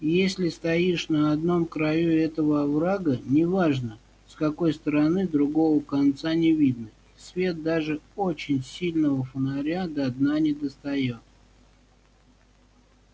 если стоишь на одном краю этого оврага не важно с какой стороны другого конца не видно и свет даже очень сильного фонаря до дна не достаёт